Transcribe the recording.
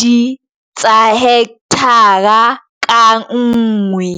2 hekthara ka nngwe.